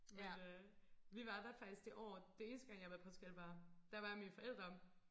Men øh vi var der faktisk det år det eneste gang jeg har været i Portugal var der var jeg med mine forældre